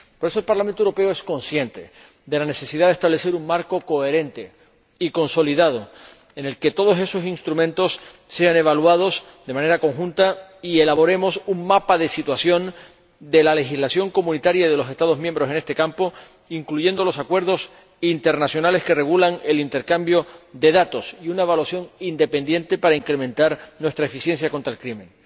Por eso, el Parlamento Europeo es consciente de la necesidad de establecer un marco coherente y consolidado en el que todos esos instrumentos sean evaluados de manera conjunta y elaboremos un mapa de situación de la legislación comunitaria y de los Estados miembros en este campo, incluyendo los acuerdos internacionales que regulan el intercambio de datos y una evaluación independiente para incrementar nuestra eficiencia contra el crimen.